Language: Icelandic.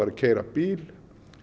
að keyra bíl